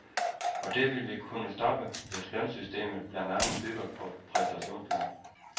Og det vil vi kunne stoppe, hvis lønsystemet blandt andet bygger på præstationsløn.